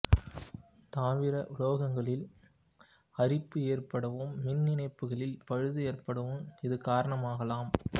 தவிர உலோகங்களில் அரிப்பு ஏற்படவும் மின் இணைப்புகளில் பழுது ஏற்படவும் இது காரணமாகலாம்